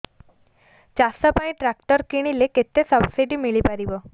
ଚାଷ ପାଇଁ ଟ୍ରାକ୍ଟର କିଣିଲେ କେତେ ସବ୍ସିଡି ମିଳିପାରିବ